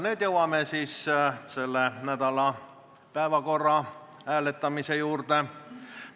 Nüüd jõuame selle nädala päevakorra hääletamise juurde.